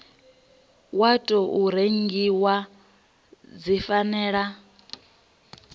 wa tou rengiwa dzi fanela